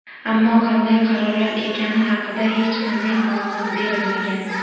Ammo qanday qarorlar ekani haqida hech qanday ma’lumot berilmagan.